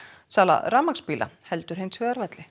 sala rafmagnsbíla heldur hins vegar velli